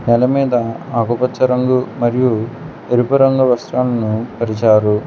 నేలమీద ఆకుపచ్చ రంగు మరియు ఎరుపు రంగు వస్త్రాలను పరిచారు.